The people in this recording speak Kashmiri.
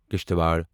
کشتِوار